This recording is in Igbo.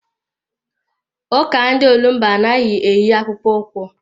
Ụka ndị olumba anaghị eyi akpụkpọ ụkwụ.